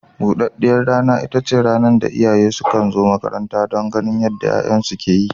Buɗaɗɗiyar rana ita ce rana da iyayen sukan zo makaranta don ganin yadda 'ya'yansu ke yi.